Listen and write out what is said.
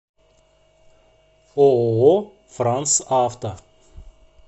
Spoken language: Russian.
ооо франсавто